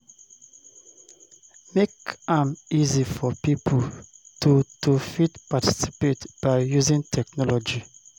Make am easy for pipo to to fit participate by using technology